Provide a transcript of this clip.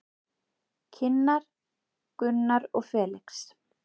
Kynnar Gunnar og Felix.